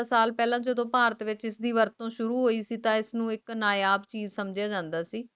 ਤੇਰਾ ਸਾਲ ਤੋਂ ਪਹਿਲਾ ਜੱਦੋ ਭਾਰਤ ਵਿਚ ਇਸ ਵਰਤੋਂ ਸ਼ੁਰੂ ਹੁਈ ਸੀ ਤੋਂ ਇਸ ਨੂੰ ਇਕ ਨਾਯਾਬ ਚੀਜ਼ ਸਮਝ ਜਾਂਦਾ ਸੀ